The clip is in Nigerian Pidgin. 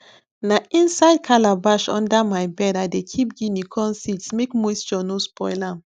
na inside calabash under my bed i dey keep guinea corn seeds make moisture no spoil am